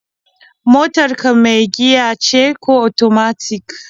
Motar ka mai giya ce ko otomatik?